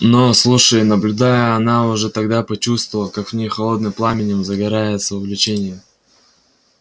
но слушая и наблюдая она уже тогда почувствовала как в ней холодным пламенем загорается увлечение